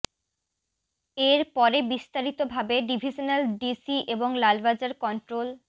এর পরে বিস্তারিত ভাবে ডিভিশনাল ডিসি এবং লালবাজার কন্ট্রোল